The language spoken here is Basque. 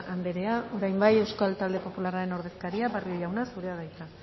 andrea orain bai euskal talde popularraren ordezkaria barrio jauna zurea da hitza